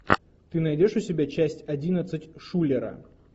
ты найдешь у себя часть одиннадцать шулера